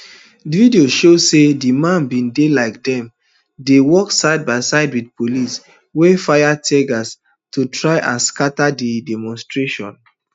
videos show say di men bin dey like dem dey work sidebyside wit police wey fire teargas to try and scata di demonstrations